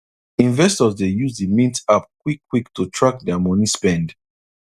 investors dey use the mint app quick quick to track their money spend